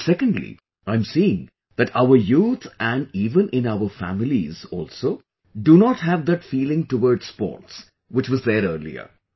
And secondly, I am seeing that our youth and even in our families also do not have that feeling towards sports which was there earlier